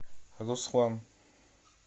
руслан